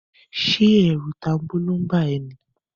Ṣé ẹ̀rù tanbóló ń bá a ẹ ní?